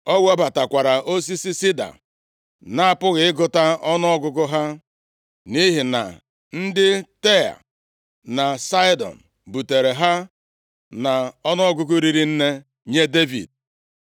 O webatakwara osisi sida nʼapụghị ịgụta ọnụọgụgụ ha, nʼihi na ndị Taịa na Saịdọn butere ha nʼọnụọgụgụ riri nne nye Devid.